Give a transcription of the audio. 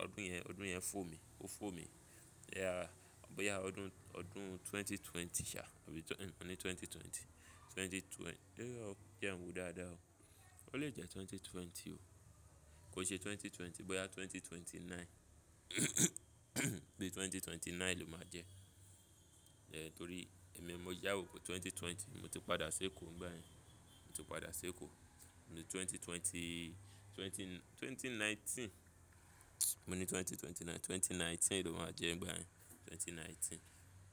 ọdún yẹn, ọdún yẹn fò mi, ó fò mi. Ọ bóyá ọdún, ọdún 2020 ṣá, àbí ì, mo ní 2020. 2020, dé ọ, jẹ́ n wo dáadáa o. Ó lè jẹ́ 2020 o. Kò ṣe 2020, bóyá 2029. Bí i 2029 ló máa jẹ́. Eh, torí èmi mo sáwọ́ pe 2020, mo ti padà ṣ'Eko ngbáyen. Mo ti padà ṣ'Eko ní 2020, 20, 2019. Mo ní 2029, 2019 ló máa jẹ́ ngbáyen. 2019.